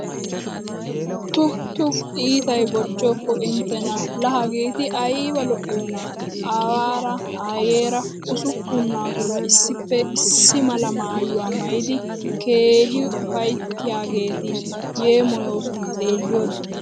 Tu tu iitay bochchoppo inttena laa hageetti aybba lo'iyoonna. Aawaara Ayeeraa usuppun naaturaa issippe issi mala maayuwaa maayid keehi ufayttiyaageeti yeemoyooson xeelliyode.